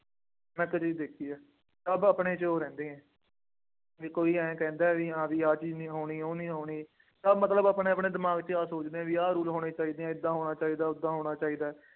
ਮੈਂ ਇੱਕ ਚੀਜ਼ ਦੇਖੀ ਹੈ। ਸਭ ਆਪਣੇ ਚੋਰ ਹੈ। ਬਈ ਕੋਈ ਆੲੈਂ ਕਹਿੰਦਾ ਬਈ ਹਾਂ ਬਈ ਆਹ ਚੀਜ਼ ਨਹੀ ਹੋਣੀ, ਉਹ ਚੀਜ਼ ਨਹੀਂ ਹੋਣੀ, ਸਭ ਮਤਲਬ ਆਪਣੇ ਆਪਣੇ ਦਿਮਾਗ ਚ ਆਹ ਸੋਚਦੇ ਆ ਬਈ ਆਹ rule ਹੋਣੇ ਚਾਹੀਦੇ ਹੈ, ਏਦਾਂ ਹੋਣਾ ਚਾਹੀਦਾ, ਓਦਾਂ ਹੋਣਾ ਚਾਹੀਦਾ।